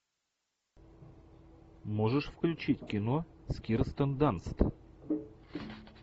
можешь включить кино с кирстен данст